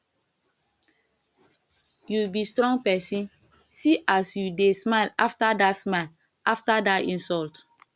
you be strong person see as you dey smile after dat smile after dat insult